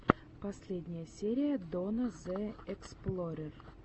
последняя серия донна зе эксплорер